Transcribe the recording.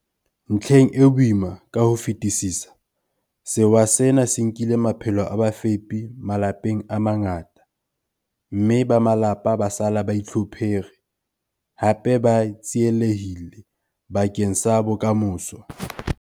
Ntlheng e boima ka ho fetisisa, sewa sena se nkile maphelo a bafepi malapeng a mangata, mme ba malapa ba sala ba itlhophere, hape ba tsielehille bakeng sa bokamoso.